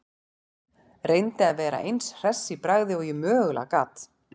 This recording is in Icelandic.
Reyndi að vera eins hress í bragði og ég mögulega gat.